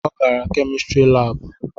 Ọ gara kemistri labu